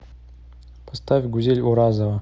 поставь гузель уразова